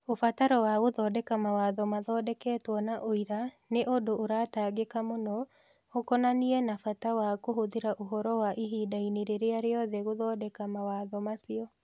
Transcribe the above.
Ũbataro wa gũthondeka mawatho mathondeketwo na ũira nĩ nĩ ũndũ ũratangĩka mũno, ũkonainie na bata wa kũhũthĩra ũhoro wa ihinda-inĩ rĩrĩa rĩothe gũthondeka mawatho macio.